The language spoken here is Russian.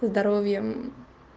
по здоровьем